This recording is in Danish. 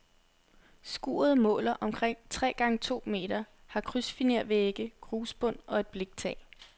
Skuret måler omkring tre gange to meter, har krydsfinervægge, grusbund og et bliktag.